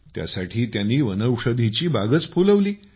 त्यासाठी त्यांनी वनौषधीची बागच फुलवली